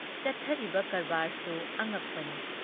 ꯆꯠꯊꯔꯤꯕ ꯀꯔꯕꯥꯔꯁꯨ ꯑꯉꯛꯄꯅꯤ ꯫